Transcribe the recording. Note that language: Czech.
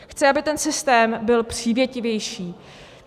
Chci, aby ten systém byl přívětivější.